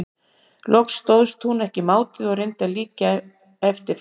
Loks stóðst hún ekki mátið og reyndi að líkja eftir fótaburði hans.